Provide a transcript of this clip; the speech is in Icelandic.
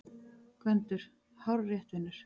GVENDUR: Hárrétt, vinur!